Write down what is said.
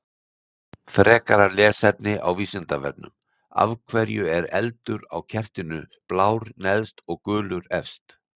Frekara lesefni á Vísindavefnum: Af hverju er eldurinn á kertinu blár neðst og gulur efst?